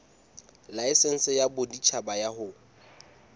laesense ya boditjhaba ya ho